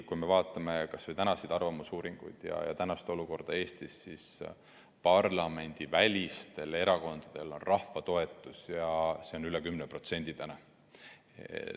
Kui me vaatame kas või tänaseid arvamusuuringuid ja Eesti praegust olukorda, siis parlamendivälistel erakondadel on rahva toetus ja see on üle 10%.